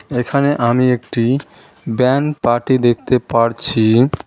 এখানে আমি একটি ব্যান পার্টি দেখতে পারছি।